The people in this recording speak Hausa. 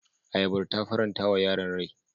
Ayabar ta faranta wa yaran rai.